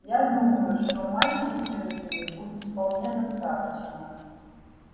я думаю что майки джинсами будет вполне достаточно